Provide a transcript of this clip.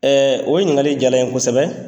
o ɲininkali jala n ye kosɛbɛ